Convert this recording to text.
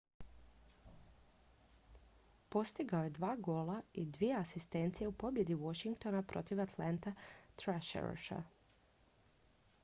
postigao je 2 gola i 2 asistencije u pobjedi washingtona protiv atlanta thrashersa 5:3